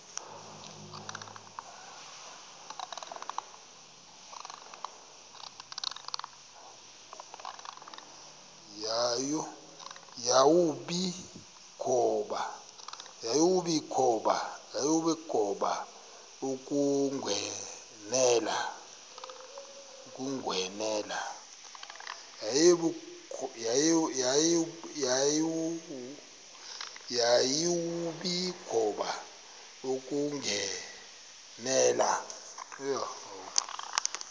yawumbi kuba ukunqwenela